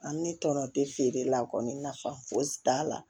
An ne tɔnɔ tɛ feere la kɔni nafa foyi t'a la